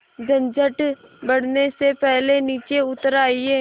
झंझट बढ़ने से पहले नीचे उतर आइए